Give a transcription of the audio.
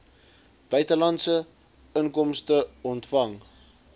buitelandse inkomste ontvang